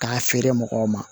K'a feere mɔgɔw ma